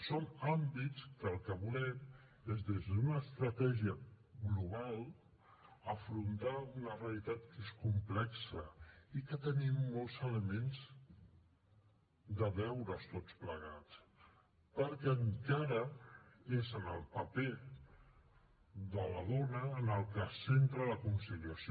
són àmbits que el que volem és des d’una estratègia global afrontar una realitat que és complexa i que tenim molts elements de deures tots plegats perquè encara és en el paper de la dona en el que es centra la conciliació